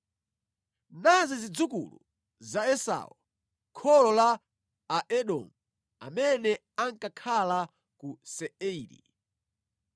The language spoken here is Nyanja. Nazi zidzukulu za Esau, kholo la Aedomu amene ankakhala ku Seiri.